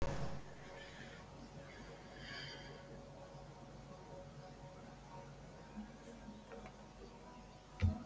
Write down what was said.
En er gosinu lokið?